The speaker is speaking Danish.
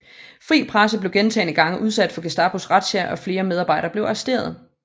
Fri Presse blev gentagne gange udsat for Gestapos razziaer og flere medarbejdere blev arresteret